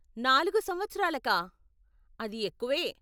నాలుగు సంవత్సరాలకా, అది ఎక్కువే.